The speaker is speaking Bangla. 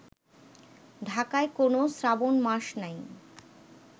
ঢাকায় কোন শ্রাবণ মাস নাই